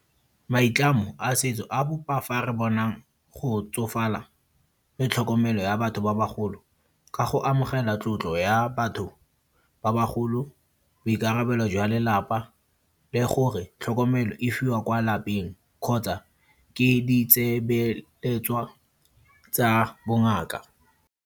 Maitlamo a setso a bopa fa re bonang go tsofala le tlhokomelo ya batho ba bagolo. Ka go amogela tlotlo ya batho ba bagolo, boikarabelo jwa lelapa le gore tlhokomelo e fiwa kwa lapeng. Kgotsa, ke di tsa bongaka.